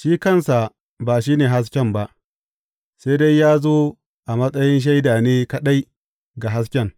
Shi kansa ba shi ne hasken ba; sai dai ya zo a matsayin shaida ne kaɗai ga hasken.